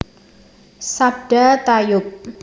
Sabda tayub